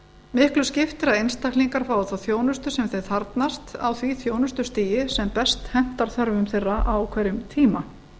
miklu skiptir að einstaklingar fái þá þjónustu sem þeir þarfnast á því þjónustustigi sem best hentar þörfum þeirra á hverjum tíma